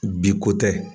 Bi ko tɛ